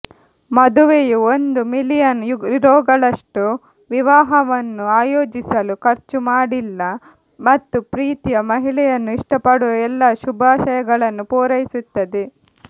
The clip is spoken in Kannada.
ಮದುವೆಯು ಒಂದು ಮಿಲಿಯನ್ ಯುರೋಗಳಷ್ಟು ವಿವಾಹವನ್ನು ಆಯೋಜಿಸಲು ಖರ್ಚು ಮಾಡಿಲ್ಲ ಮತ್ತು ಪ್ರೀತಿಯ ಮಹಿಳೆಯನ್ನು ಇಷ್ಟಪಡುವ ಎಲ್ಲಾ ಶುಭಾಶಯಗಳನ್ನು ಪೂರೈಸುತ್ತದೆ